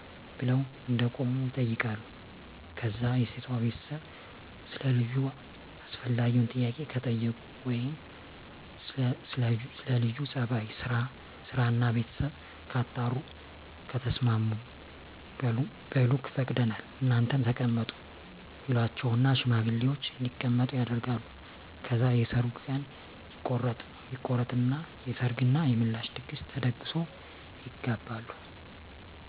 ብለው እንደቆሙ ይጠይቃሉ ከዛ የሴቷ ቤተሰብ ሰለ ልጁ አስፈላጊውን ጥያቄ ከጠየቁ ወይም ስለ ለጁ ጸባይ፣ ስራና ቤተሰቡ ካጣሩ በኋላ ከተስማሙ በሉ ፈቅደናል እናንተም ተቀመጡ ይሏቸውና ሽማግሌወችን እንዲቀመጡ ያደርጋሉ። ከዛ የሰርጉ ቀን ይቆረጥና የሰርግ እና የምላሽ ድግስ ተደግሶ ይጋባሉ።